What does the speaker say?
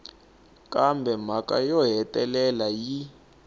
kambe mhaka yo hetelela yi